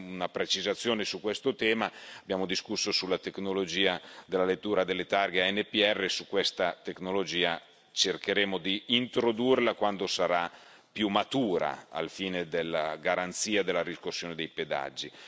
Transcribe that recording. Una precisazione su questo tema abbiamo discusso sulla tecnologia della lettura delle targhe ANPR e questa tecnologia cercheremo di introdurla quando sarà più matura, al fine della garanzia della riscossione dei pedaggi.